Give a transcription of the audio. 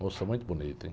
Moça muito bonita, hein?